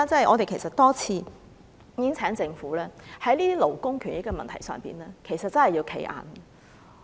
我們其實亦多次請政府要在這些勞工權益的問題上"企硬"。